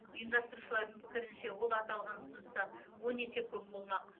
ұйымдастырушылардың пікірінше ол аталған ұсыныстан он есе көп болмақ